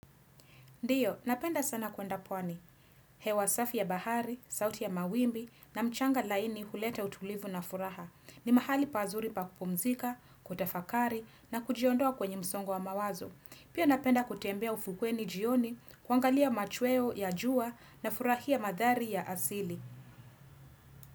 Ndiyo, napenda sana kuenda pwani. Hewa safi ya bahari, sauti ya mawimbi na mchanga laini hulete utulivu na furaha. Ni mahali pazuri pa kupumzika, kutafakari na kujiondoa kwenye msongo wa mawazo. Pia napenda kutembea ufukweni jioni, kuangalia machweo ya jua na furahia madhari ya asili.